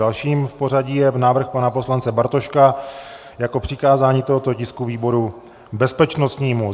Dalším v pořadí je návrh pana poslance Bartoška jako přikázání tohoto tisku výboru bezpečnostnímu.